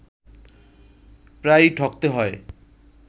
প্রায়ই ঠকতে হয়